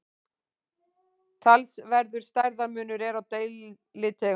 talsverður stærðarmunur er á deilitegundum